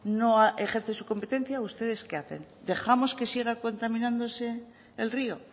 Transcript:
no ejerce su competencia ustedes qué hacen dejamos que siga contaminándose el río